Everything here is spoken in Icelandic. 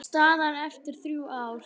Staðan eftir þrjú ár?